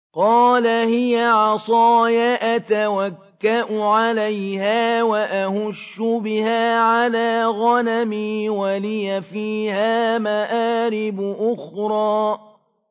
قَالَ هِيَ عَصَايَ أَتَوَكَّأُ عَلَيْهَا وَأَهُشُّ بِهَا عَلَىٰ غَنَمِي وَلِيَ فِيهَا مَآرِبُ أُخْرَىٰ